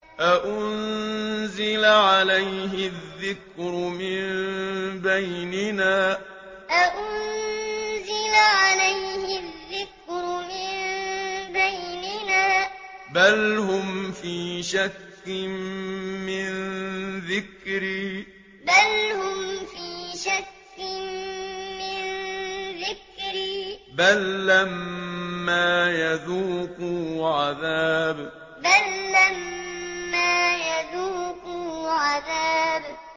أَأُنزِلَ عَلَيْهِ الذِّكْرُ مِن بَيْنِنَا ۚ بَلْ هُمْ فِي شَكٍّ مِّن ذِكْرِي ۖ بَل لَّمَّا يَذُوقُوا عَذَابِ أَأُنزِلَ عَلَيْهِ الذِّكْرُ مِن بَيْنِنَا ۚ بَلْ هُمْ فِي شَكٍّ مِّن ذِكْرِي ۖ بَل لَّمَّا يَذُوقُوا عَذَابِ